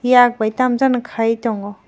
yak bai tam jani kai tongo.